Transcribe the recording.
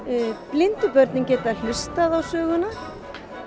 blindu börnin geta hlustað á söguna